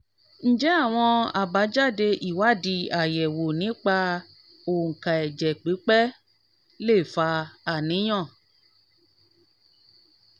ǹjẹ́ àwọn àbájáde ìwádìí ayewo nípa onka ẹ̀jẹ̀ pipe lè fa àníyàn?